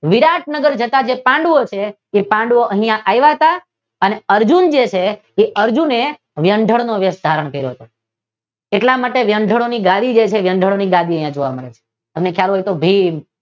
વિરાટનાગર જતાં જે પાંડુઓ છે તે પાંડુઓ અહિયાં આવ્યા તા અને અર્જુન છે જે અર્જુને વ્યંઢળ નો વેશ ધારણ કર્યો હતો. એટલા માટે વ્યંઢ્ળો ની ગાડી જે છે તે વ્યંઢ્ળો ની ગાડી અહી જોવા મળે છે ભીમ